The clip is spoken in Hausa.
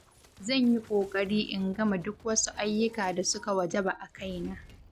Zan yi ƙoƙari in gama duk wasu ayyuka da suka wajaba a kaina.